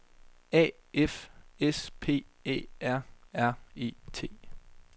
A F S P Æ R R E T